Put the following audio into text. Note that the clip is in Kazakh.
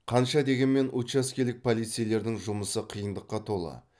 қанша дегенмен учаскелік полицейлердің жұмысы қиындыққа толы